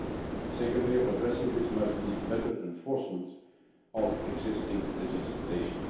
The second way of addressing this must be better enforcement of existing legislation.